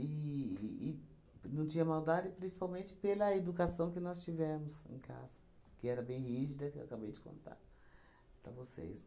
e não tinha maldade principalmente pela educação que nós tivemos em casa, que era bem rígida, que eu acabei de contar para vocês.